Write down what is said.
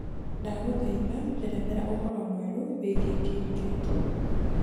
ndagũthaitha njerethera ũhoro mwerũ wĩĩgĩe kiriketi